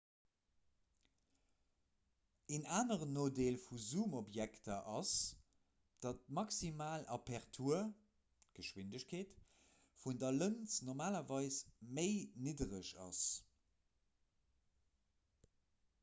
en aneren nodeel vu zoomobjektiver ass datt d'maximal apertur d'geschwindegkeet vun der lëns normalerweis méi niddereg ass